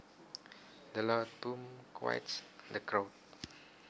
The loud boom quiets the crowd